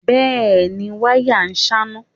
Bẹ́è ni, wáyà ṣáná.